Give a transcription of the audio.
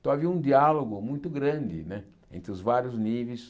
Então havia um diálogo muito grande né entre os vários níveis